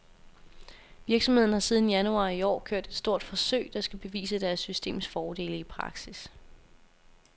Virksomheden har siden januar i år kørt et stort forsøg, der skal bevise deres systems fordele i praksis.